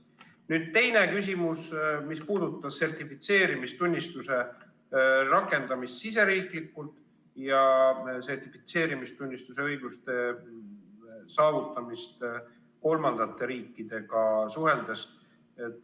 Nüüd teine küsimus, mis puudutas sertifitseerimistunnistuse rakendamist riigisiseselt ja sertifitseerimistunnistuse õiguste saavutamist kolmandate riikidega suheldes.